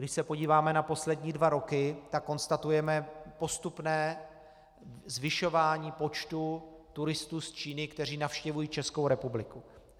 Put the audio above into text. Když se podíváme na poslední dva roky, tak konstatujeme postupné zvyšování počtu turistů z Číny, kteří navštěvují Českou republiku.